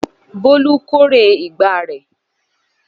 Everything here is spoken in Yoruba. Bólú kórè ìgbà rẹ̀.